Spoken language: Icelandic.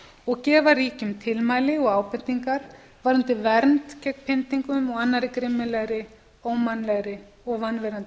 og gefa ríkjum tilmæli og ábendingar varðandi vernd gegn pyndingum og annarri grimmilegri ómannlegri og vanvirðandi